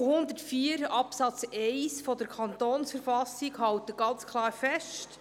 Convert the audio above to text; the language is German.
Artikel 104 Absatz 1 der Verfassung des Kantons Bern (KV) hält ganz klar fest: